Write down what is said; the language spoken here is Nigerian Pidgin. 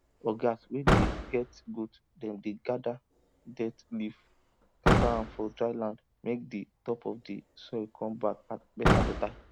ogas wey dey get goat dem dey gather dead leaves scatter am for dry land make di top of the soil come back betabeta